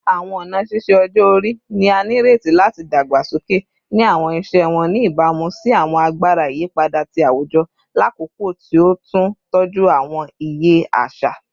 Awọn ọna ṣiṣe ọjọ-ori ni a nireti lati dagbasoke ni awọn iṣẹ wọn, ni ibamu si awọn agbara iyipada ti awujọ lakoko ti o tun tọju awọn iye aṣa